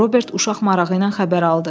Robert uşaq marağı ilə xəbər aldı.